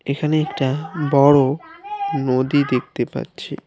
এখানে একটা বড় নদী দেখতে পাচ্ছি।